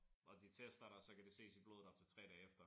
Og de tester dig så kan det ses i blodet op til 3 dage efter